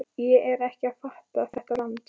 Ég er ekki að fatta þetta land.